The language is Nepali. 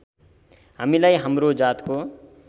हामीलाई हाम्रो जातको